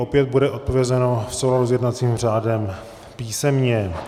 Opět bude odpovězeno v souladu s jednacím řádem písemně.